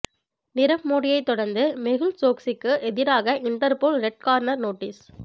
நிரவ் மோடியை தொடர்ந்து மெகுல் சோக்சிக்கு எதிராக இண்டர்போல் ரெட் கார்னர் நோட்டீஸ்